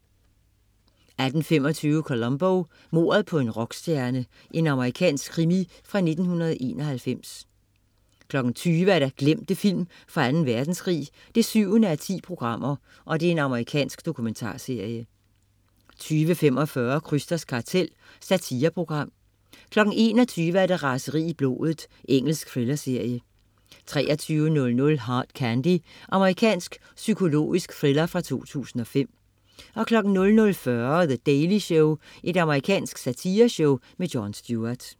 18.25 Columbo: Mordet på en rockstjerne. Amerikansk krimi fra 1991 20.00 Glemte film fra Anden Verdenskrig 7:10. Amerikansk dokumentarserie 20.45 Krysters kartel. Satireprogram 21.00 Raseri i blodet. Engelsk thrillerserie 23.00 Hard Candy. Amerikansk psykologisk thriller fra 2005 00.40 The Daily Show. Amerikansk satireshow. Jon Stewart